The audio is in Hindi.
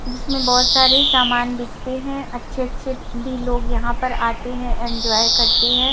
जीसमें बहोत सारे सामान बिकते हैं अच्छे अच्छे भी लोग यहां पर आते हैं एंजॉय करते हैं।